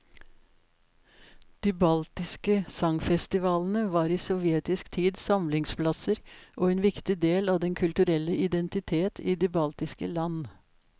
De baltiske sangfestivalene var i sovjetisk tid samlingsplasser og en viktig del av den kulturelle identitet i de baltiske land.